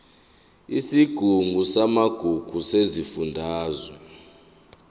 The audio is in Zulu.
isigungu samagugu sesifundazwe